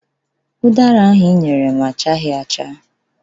Ụdara ahụ ị nyere m achaghị acha.